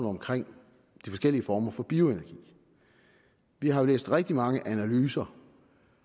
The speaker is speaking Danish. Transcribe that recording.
omkring de forskellige former for bioenergi vi har læst rigtig mange analyser